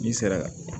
N'i sera